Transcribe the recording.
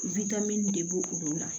de b' olu la